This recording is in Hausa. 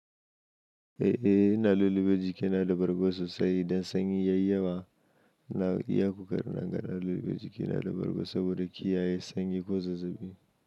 Eh, ina lulluɓe jikina da bargo sosai dan sanyi ya yi yawa. Na iya koƙarina in gan na lulluɓe jikina da bargo saboda kiyaye sanyi ko zazzabi.